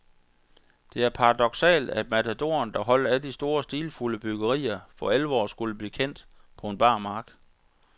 Det er paradoksalt, at matadoren, der holdt af de store, stilfulde byggerier, for alvor skulle blive kendt på en bar mark.